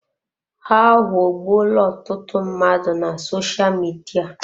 Ha aghọọgbuola ọtụtụ mmadụ na sosha Midia.